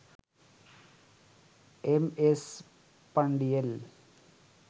M S Pandian